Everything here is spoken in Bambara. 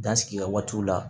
Dan sigi kɛ waatiw la